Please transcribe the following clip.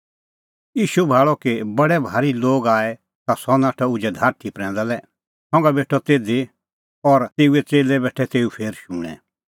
ईशू भाल़अ कि बडै भारी लोग आऐ ता सह नाठअ उझै धारठी प्रैंदा लै संघा बेठअ तिधी और च़ेल्लै बी बेठै तेऊ फेर शूणैं